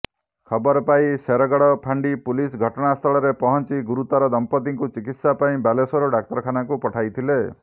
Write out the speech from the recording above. ଖବର ପାଇ ଶେରଗଡ଼ ଫାଣ୍ଡି ପୁଲିସ ଘଟଣାସ୍ଥଳରେ ପହଞ୍ଚି ଗୁରୁତର ଦମ୍ପତିଙ୍କୁ ଚିକିତ୍ସା ପାଇଁ ବାଲେଶ୍ୱର ଡାକ୍ତରଖାନାକୁ ପଠାଇଥିଲେ